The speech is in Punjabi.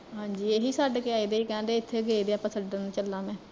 ਹਾਂਜੀ ਏਹੀ ਛੱਡ ਕੇ ਆਏ ਸੀ ਕਹਿੰਦੇ ਏਥੇ ਗਏ ਵੇ ਆਪਾਂ, ਛੱਡਣ ਚਲਾ ਮੈਂ